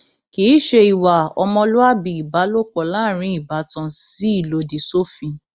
kì í ṣe ìwà ọmọlúàbí ìbálòpọ láàrin ìbátan sì lòdì sófin